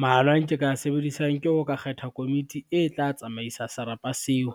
Maano a nke ka sebedisang ke ho ka kgetha komiti e tla tsamaisa serapa seo,